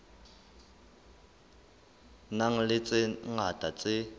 nang le tse ngata tse